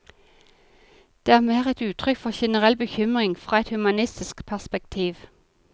Det er mer et uttrykk for generell bekymring fra et humanistisk perspektiv.